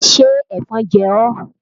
Ṣé ẹ̀fọn jẹ ọ́?